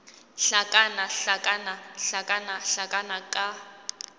hlakana hlakana hlakana hlakana ka